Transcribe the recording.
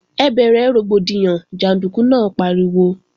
Ẹ bẹ̀rẹ̀ rògbòdìyàn, jàndúkú náà pariwo!